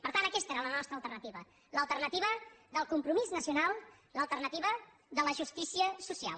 per tant aquesta era la nostra alternativa l’alternativa del compromís nacional l’alternativa de la justícia social